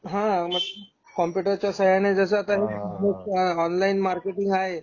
हा , कॉम्पुटर च्या साहाय्याने जस आता हा ऑनलाइन मार्केट आहे.